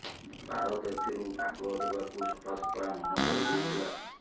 ଭାରତ ଏଥିରୁ ଭାଗ ଦେବାକୁ ସଫା ସଫା ମନ କରି ଦେଇଥିଲା